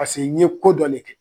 Paseke n ye ko dɔnlen kɛ